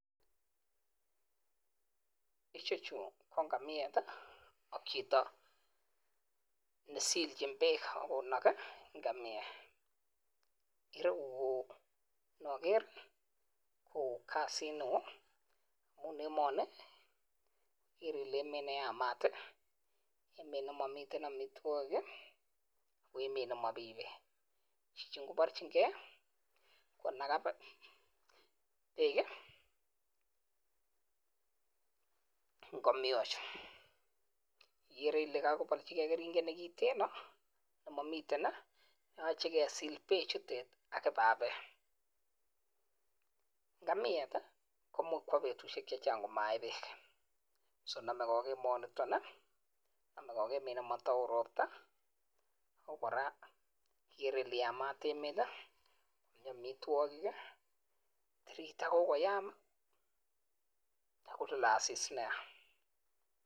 Ichechuuu KO ngamiet AK Chito nesilchin peeeek tagu Kole emanii KO emet neytat emet nemamii peeek ngamiet komuchiii kotebii betusheeek chechang kotoma kenaga peeeek